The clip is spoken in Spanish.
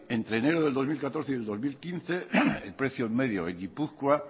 entre enero de dos mil catorce y el dos mil quince el precio medio en gipuzkoa